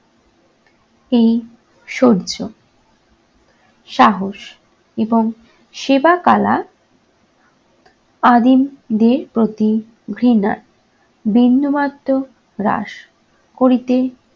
এই সৌর্য, সাহস, এবং সেবা কলা আদিমদের প্রতি ঘৃণা বিন্দুমাত্র হ্রাস করিতে